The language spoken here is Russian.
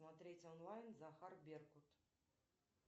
смотреть онлайн захар беркут